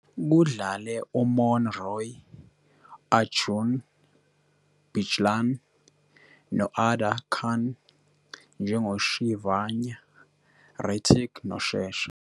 Kudlale uMouni Roy, Arjun Bijlani no- Adaa Khan njengoShivanya, Ritik noShesha.